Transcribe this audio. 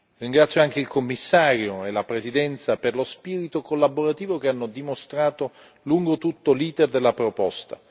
Ringrazio anche il Commissario e la Presidenza per lo spirito collaborativo che hanno dimostrato lungo tutto l'iter della proposta.